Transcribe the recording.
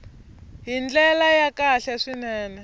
hi ndlela ya kahle swinene